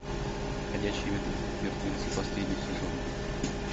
ходячие мертвецы последний сезон